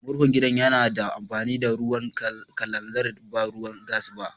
Murhun gida ya na amfani da ruwan kalanzir ba ruwan gas ba.